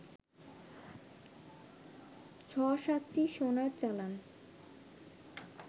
৬-৭টি সোনার চালান